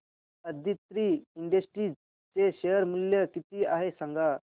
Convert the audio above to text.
Aditri industries चे share मूल्य किती आहे सांगा